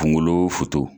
Kunkolo